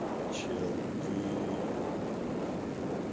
чел ты